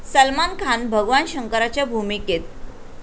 सलमान खान भगवान शंकराच्या भूमिकेत?